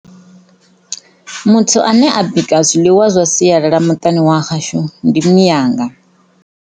Muthu ane a bika zwiḽiwa zwa sialala muṱani wa hashu ndi mianga.